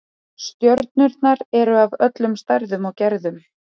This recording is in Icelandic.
Stjörnurnar eru af öllum stærðum og gerðum.